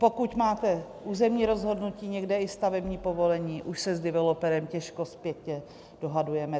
Pokud máte územní rozhodnutí, někde i stavební povolení, už se s developerem těžko zpětně dohadujeme.